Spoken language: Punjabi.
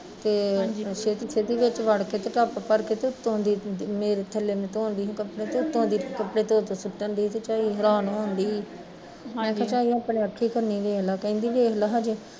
ਤੇ ਛੇਤੀ ਛੇਤੀ ਵਿੱਚ ਵੜ ਕੇ ਤੇ ਟੱਬ ਭਰ ਕੇ ਤੇ ਉੱਤੋਂ ਦੀ ਮੇਰੇ ਥੱਲੇ ਮੈਂ ਧੋਦੀ ਸੀ ਕੱਪੜੇ ਤੇ ਉੱਤੋਂ ਦੀ ਕੱਪੜੇ ਧੋ ਧੋ ਸੁੱਟਣ ਡਈ ਤੇ ਚਈ ਹੈਰਾਨ ਹੋਣ ਡਈ ਮੈਂ ਕਿਹਾ ਆਹ ਅਪਣੇ ਅਖੀ ਕਨੀ ਵੇਖਲਾ, ਕਹਿੰਦੀ ਵੇਖਲਾ ਹਜੇ